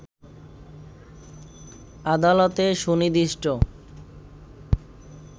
আদালতে সুনির্দিষ্ট